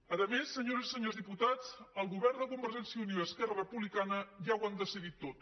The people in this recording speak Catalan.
a més senyores i senyors diputats el govern de convergència i unió i esquerra republicana ja ho han decidit tot